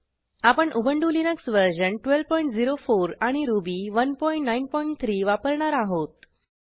आपण Ubuntu Linux version 1204 आणि Ruby 193 वापरणार आहोत